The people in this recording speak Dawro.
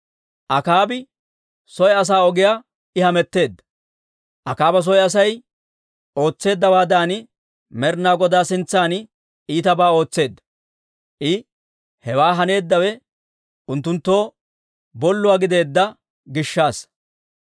Akaaba soy asaa ogiyaa I hametteedda; Akaaba soy Asay ootseeddawaadan, Med'ina Godaa sintsan iitabaa ootseedda. I hewaa haneeddawe unttunttoo bolluwaa gideedda gishshassa.